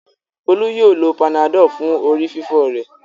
Folú yóò lo Panadol fún orí-fífọ́ rẹ̀.